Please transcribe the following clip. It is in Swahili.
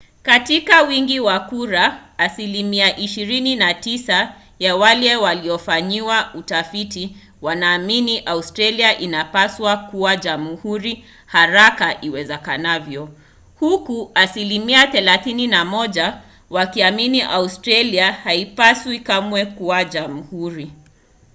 katika wingi wa kura asilimia 29 ya wale waliofanyiwa utafiti wanaamini australia inapaswa kuwa jamhuri haraka iwezekanavyo huku asilimia 31 wakiamini australia haipaswi kamwe kuwa jamhuri